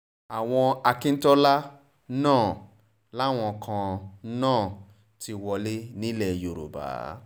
àwọn akíntola náà làwọn kan náà ti wọlé nílẹ̀ yorùbá